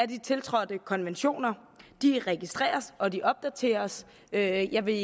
de tiltrådte konventioner de registreres og de opdateres jeg jeg vil